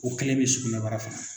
O kelen bɛ sugunɛbara fana na